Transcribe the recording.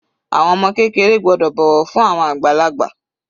Àwọn ọmọ kékeré gbọ́dọ̀ bọ̀wọ̀ fún àwọn àgbàlagbà.